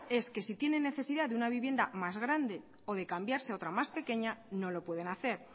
es que si tienen necesidad de una vivienda más grande o de cambiarse a otra más pequeña no lo pueden hacer